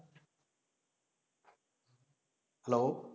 hello